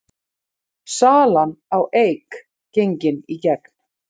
Salan á Eik gengin í gegn